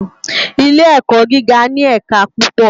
Ilé èkò gigá ni ẹká púpò